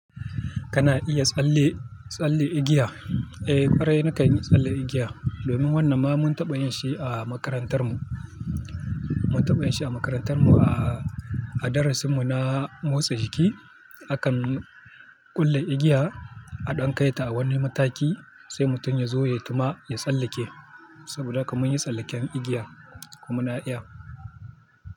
Kana iya tsalle- tsalle igiya? Eh, ƙwarai nakan yi tsalle igiya. Domin wannan ma mun taɓa yin shi a makarantar mu. Mun taɓa yin shi a makarantar mu a-a darasin mu na motsa jiki. Akan ƙulle igiya, a ɗan kai ta a wani mataki, sai mutum ya zo ya gama ya tsallake. Saboda haka mun yi tsallaken igiya kuma na iya.